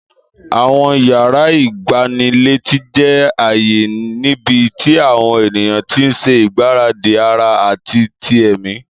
Àwọn yàrá ìgbanilétí jẹ́ ààyè níbi tí àwọn ènìyàn ti ń ṣe ìgbáradì ara àti ti ẹ̀mí.